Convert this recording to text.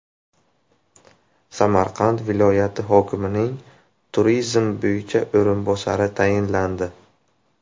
Samarqand viloyati hokimining turizm bo‘yicha o‘rinbosari tayinlandi.